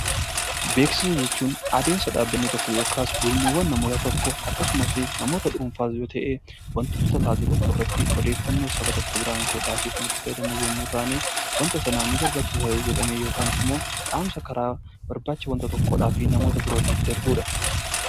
Beeksisa jechuun adeemsa dhaabbatni tokko yookiin gurmuun namootaa akkasumas namoota dhuunfaas yoo ta'e wantoota taasifamu irratti odeeffannoo saba tokko biraan gahuudhaaf kan fayyadaman yoo ta'u, wanta sanaaf ni barbaachisa jedhanii yookaan ni barbaachisu yookaan immoo dhaamsa namoota birootiin darbudha